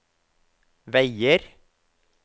veier